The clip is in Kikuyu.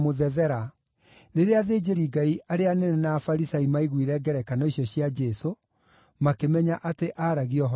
Rĩrĩa athĩnjĩri-Ngai arĩa anene na Afarisai maaiguire ngerekano icio cia Jesũ, makĩmenya atĩ aaragia ũhoro wao.